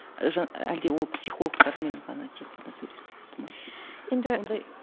әлде ол психологтармен ғана тек қана